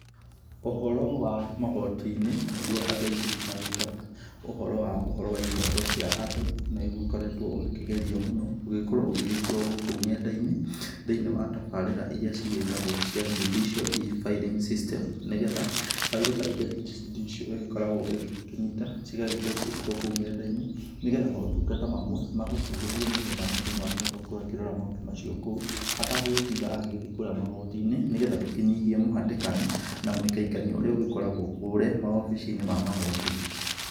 Ũhoro wa magotinĩ, nĩguo andũ aingĩ magĩtaga ũhoro wa ihoto cia andũ, nĩguo ũkoretwo ũkĩgerio mũno, ũgĩgĩkorwo ũgĩgĩkĩrwo gũkũ nendainĩ thĩinĩ cia tabarĩra iria ciĩtagwo cia Judicial e-filling system nĩgetha firo ta icio cia judicial ikoragwa ikĩnyita, cigagĩkorwo cigĩkĩrwa gũkũ nendainĩ nĩgetha maũtungata mamwe makĩhuthio nĩgetha mũndũ ahote kũrora maũndũ macio kũu, atagũtinda agĩthiĩ kũrĩa magotinĩ nĩgetha tũkĩnyihie mũhĩtĩkano na mũikaikanio ũrĩa ũkoragwa kũrĩa maobicinĩ ma magoti.